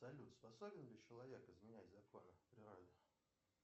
салют способен ли человек изменять законы природы